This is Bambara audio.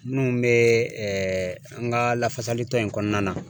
Munnu be ɛɛ an ga lafasalitɔn in kɔnɔna na